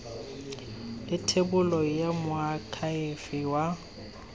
le thebolo ya moakhaefe wa